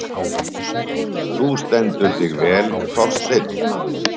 Þú stendur þig vel, Þorsteinn!